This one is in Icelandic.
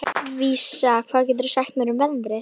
Vísa, hvað geturðu sagt mér um veðrið?